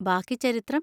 ബാക്കി ചരിത്രം!